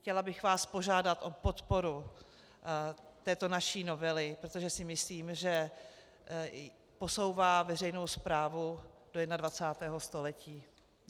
Chtěla bych vás požádat o podporu této naší novely, protože si myslím, že posouvá veřejnou správu do 21. století.